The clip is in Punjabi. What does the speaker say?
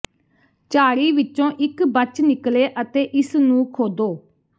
ਝਾੜੀ ਵਿੱਚੋਂ ਇਕ ਬਚ ਨਿਕਲੇ ਅਤੇ ਇਸ ਨੂੰ ਖੋਦੋ